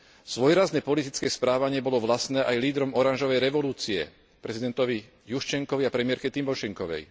Svojrázne politické správanie bolo vlastné aj lídrom oranžovej revolúcie, prezidentovi Juščenkovi a premiérke Tymošenkovej.